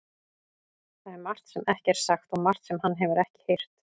Það er margt sem ekki er sagt og margt sem hann hefur ekki heyrt.